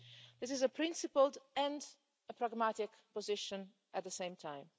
This is a principled and a pragmatic position at the same time.